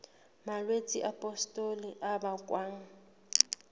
malwetse a pustule a bakwang